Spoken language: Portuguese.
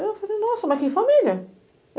Eu falei, nossa, mas que família?